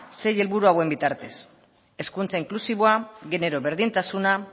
sei helburu hauen bitartez hezkuntza inklusiboa genero berdintasuna